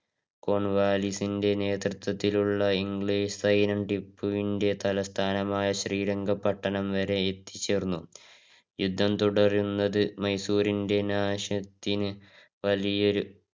കോൺവാലിസിന്റെ നേത്രത്വത്തിലുള്ള സൈന്യം ടിപ്പുവിന്റെ തലസ്ഥാനമായ ശ്രീരംഗപട്ടണം വരെ എത്തി ചേർന്നു. യുദ്ധം തുടരുന്നത് മൈസൂറിന്റെ നാശത്തിന് വലിയൊരു